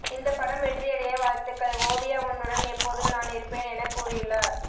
இந்த படம் வெற்றியடைய வாழ்த்துக்கள் ஓவியா உன்னுடன் எப்போதும் நான் இருப்பேன் என கூறியுள்ளார்